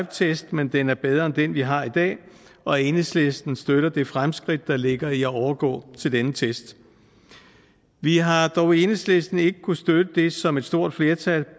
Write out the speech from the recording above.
test men den er bedre end den vi har i dag og enhedslisten støtter det fremskridt der ligger i at overgå til denne test vi har dog i enhedslisten ikke kunnet støtte det som et stort flertal